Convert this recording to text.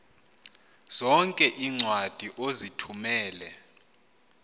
zonke iincwadi ozithumela